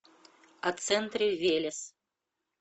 о центре велес